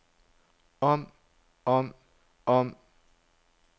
om om om